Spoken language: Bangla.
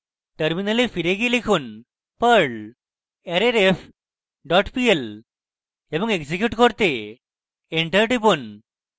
terminal ফিরে গিয়ে লিখুন: perl arrayref dot pl এবং execute করতে enter টিপুন